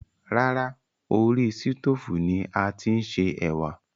Rárá, orí sítoòfù ni a ti ń se ẹ̀wà